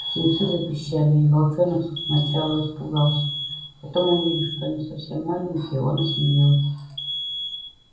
птенцы запищали и волчонок сначала испугался потом увидев что они совсем маленькие он осмелел